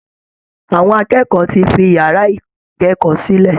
Àwọn akẹ́kọ̀ọ́ ti fi yàrá ìkẹ́kọ̀ọ́ sílẹ̀